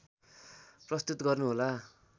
प्रस्तुत गर्नु होला